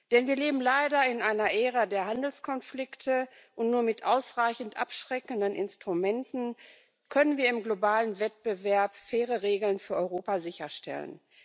Denn wir leben leider in einer Ära der Handelskonflikte, und nur mit ausreichend abschreckenden Instrumenten können wir im globalen Wettbewerb faire Regeln für Europa sicherstellen.